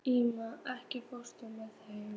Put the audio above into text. Ími, ekki fórstu með þeim?